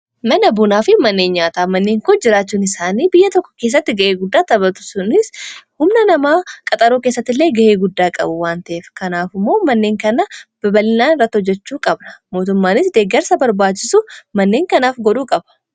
Mana bunaa fi manneen nyaataa manneen kun jiraachuun isaanii biyya tokko keessatti ga'ee guddaa tapatu. Sunis humna namaa qaxaruu keessatti illee ga'ee guddaa qabu waan ta'eef kanaafimmoo manneen kanaa babal'inaan irratti hojjechuu qaba. Mootummaanis deeggarsa barbaachisu manneen kanaaf godhuu qaba.